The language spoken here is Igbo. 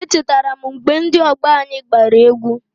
Echetara m mgbe ndị ọgbọ anyị gbara egwu.